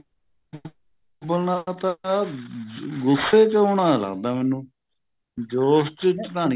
ਉੱਬਲਣਾ ਤਾਂ ਗੁੱਸੇ ਚ ਆਉਣਾ ਲੱਗਦਾ ਮੈਨੂੰ ਜੋਸ਼ ਚ ਤਾਂ ਨੀ